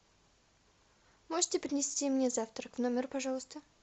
можете принести мне завтрак в номер пожалуйста